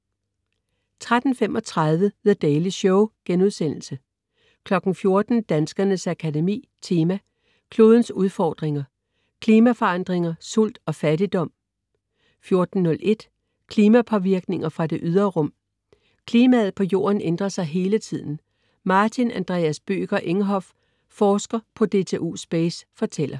13.35 The Daily Show* 14.00 Danskernes Akademi Tema: Klodens udfordringer. Klimaforandringer, sult og fattigdom 14.01 Klimapåvirkninger fra det ydre rum. Klimaet på jorden ændrer sig hele tiden. Martin Andreas Bødker Enghoff, forsker på DTU Space, fortæller